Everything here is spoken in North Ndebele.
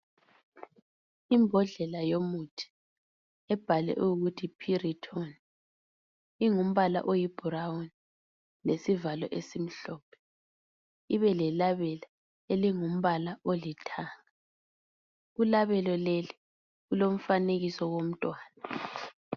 Imbodlela yomuthi ebhalwe ukuthi Piriton ingumbala oyi "brown" lesivalo esimhlophe ibele labela ilingumbala olithanga, kulabela lelo kulomfanekiso womntwana.